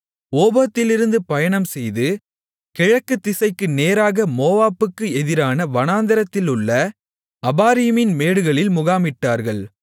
ஓபோத்திலிருந்து பயணம் செய்து கிழக்குதிசைக்கு நேராக மோவாபுக்கு எதிரான வனாந்திரத்திலுள்ள அபாரீமின் மேடுகளில் முகாமிட்டார்கள்